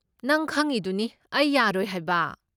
ꯅꯪ ꯈꯪꯉꯤꯗꯨꯅꯤ ꯑꯩ ꯌꯥꯔꯣꯏ ꯍꯥꯏꯕ꯫